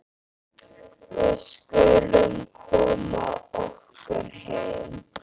Við skulum koma okkur heim.